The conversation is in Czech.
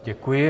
Děkuji.